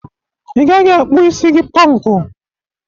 Ị gaghị akpụ isi gị pọnkụ.